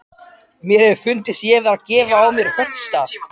Mér hefði fundist ég vera að gefa á mér höggstað.